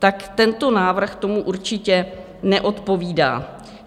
Tak tento návrh tomu určitě neodpovídá.